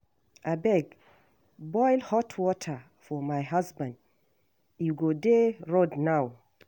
Abeg boil hot water for my husband e go dey road now